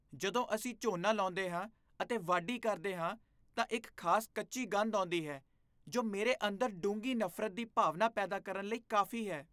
ਜਦੋਂ ਅਸੀਂ ਝੋਨਾ ਲਾਉਂਦੇ ਹਾਂ ਅਤੇ ਵਾਢੀ ਕਰਦੇ ਹਾਂ ਤਾਂ ਇੱਕ ਖਾਸ ਕੱਚੀ ਗੰਧ ਆਉਂਦੀ ਹੈ, ਜੋ ਮੇਰੇ ਅੰਦਰ ਡੂੰਘੀ ਨਫ਼ਰਤ ਦੀ ਭਾਵਨਾ ਪੈਦਾ ਕਰਨ ਲਈ ਕਾਫੀ ਹੈ।